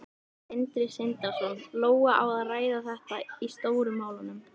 Sindri Sindrason: Lóa, á að ræða þetta í Stóru málunum?